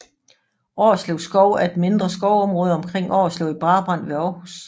Årslev Skov er et mindre skovområde omkring Årslev i Brabrand ved Aarhus